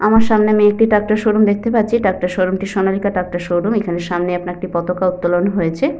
আমার সামনে আমি একটি ট্র্যাক্টর শোরুম দেখতে পাচ্ছি ট্র্যাক্টর শোরুম টি সোনালিকা ট্র্যাক্টর শোরুম এখানে সামনেই আপনার একটি পতাকা উত্তোলন হয়েছে।